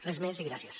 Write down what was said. res més i gràcies